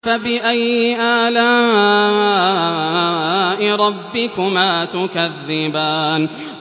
فَبِأَيِّ آلَاءِ رَبِّكُمَا تُكَذِّبَانِ